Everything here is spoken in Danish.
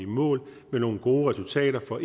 i mål med nogle gode resultater for